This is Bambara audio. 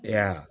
E y'a ye